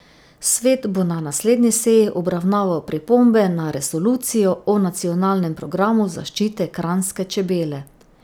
Svet bo na naslednji seji obravnaval pripombe na resolucijo o nacionalnem programu zaščite kranjske čebele.